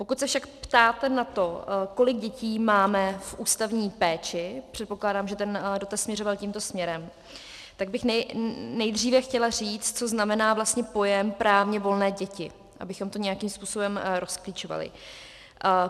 Pokud se však ptáte na to, kolik dětí máme v ústavní péči, předpokládám, že ten dotaz směřoval tímto směrem, tak bych nejdříve chtěla říct, co znamená pojem právně volné děti, abychom to nějakým způsobem rozklíčovali.